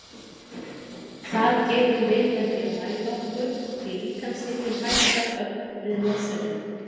Það getum við með því að mæla okkur því líkamshitinn hækkar ögn við losunina.